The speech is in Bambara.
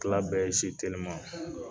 Tila bɛɛ ye teliman.